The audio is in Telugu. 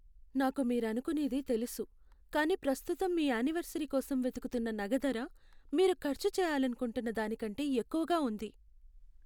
నాకు మీరనుకునేది తెలుసు, కానీ ప్రస్తుతం మీ యానివర్సరీ కోసం వెతుకుతున్న నగ ధర మీరు ఖర్చు చేయాలనుకుంటున్న దానికంటే ఎక్కువగా ఉంది.